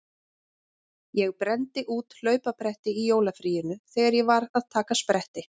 Ég brenndi út hlaupabretti í jólafríinu þegar ég var að taka spretti.